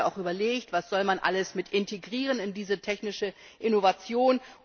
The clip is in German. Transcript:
da hatten wir auch überlegt Was soll man alles integrieren in diese technische Innovation?